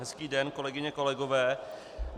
Hezký den, kolegyně, kolegové.